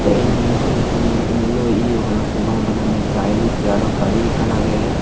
eyan he hejani eniloi eyo parapang c bananne tiles te aro gari ekkan age.